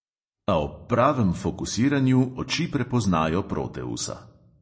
A ob pravem fokusiranju oči prepoznajo proteusa.